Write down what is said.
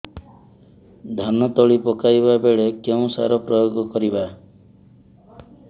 ଧାନ ତଳି ପକାଇବା ବେଳେ କେଉଁ ସାର ପ୍ରୟୋଗ କରିବା